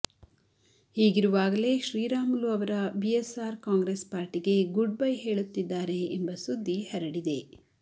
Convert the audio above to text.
ಹೀಗಿರುವಾಗಲೇ ಶ್ರೀರಾಮುಲು ಅವರ BSR Congress ಪಾರ್ಟಿಗೆ goodbye ಹೇಳುತ್ತಿದ್ದಾರೆ ಎಂಬ ಸುದ್ದಿ ಹರಡಿದೆ